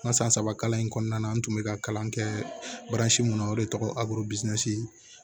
N ka san saba kalan in kɔnɔna na n tun bɛ ka kalan kɛ mun na o de tɔgɔ abodisi